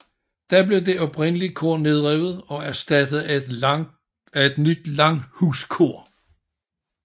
Da blev det oprindelige kor nedrevet og erstattet af et nyt langhuskor